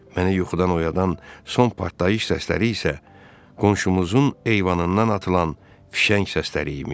Mənə yuxudan oyadan son partlayış səsləri isə qonşumuzun eyvanından atılan fişəng səsləri imiş.